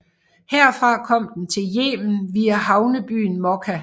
Herfra kom den til Yemen via havnebyen Mokka